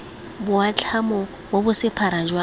boatlhamo bo bo sephara jwa